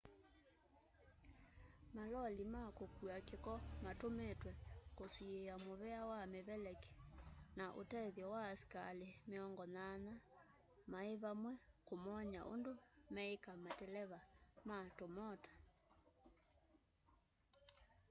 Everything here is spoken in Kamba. maloli ma kũkua kĩko matũmĩtwe kũsiĩya mũvea wa mĩveleki na ũtethyo wa asikalĩ 80 maĩvamwe kũmony'a ũndũ meĩka mateleva ma tũmota